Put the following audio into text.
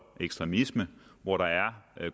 og ekstremisme og hvor der er